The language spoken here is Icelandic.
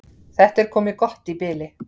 Þetta er komið gott í bili.